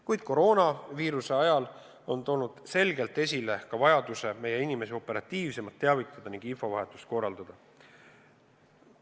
Kuid koroonaviiruse ajal on tulnud selgelt esile vajadus meie inimesi operatiivsemalt teavitada ning infovahetust korraldada.